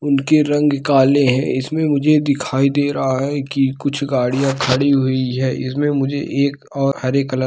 उनके रंग काले है इसमें मुझे दिखाई दे रहा है की कुछ गाड़िया दिखाइए दे रही है|